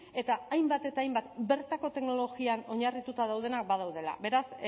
eta hainbat eta hainbat bertako teknologian oinarrituta daudenak badaudela beraz